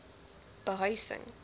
behuising